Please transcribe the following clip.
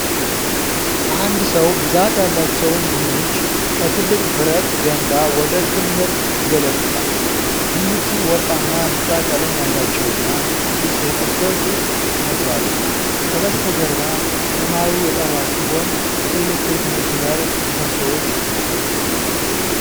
አንድ ሰው ብዛት ያላቸውን ድንች ከትልቅ ብረት ገንዳ ወደ ክምር ይገለብጣል። ድንቹ ወርቃማ ቢጫ ቀለም ያላቸውና አዲስ የተሰበሰቡ ይመስላሉ። ከበስተጀርባ ሰማዩ የጠራ ሲሆን፣ የኤሌክትሪክ መስመር ምሰሶዎች አሉ።